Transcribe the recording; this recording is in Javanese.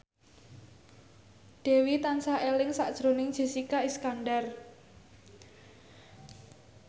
Dewi tansah eling sakjroning Jessica Iskandar